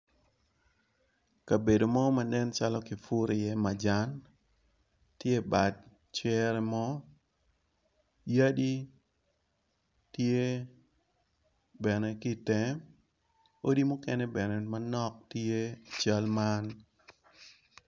Kabedo mo manen calo ki puru iye majan tye i bad cere mo, yadi tye bene ki itenge, odi mukene bene manok tye i cal man.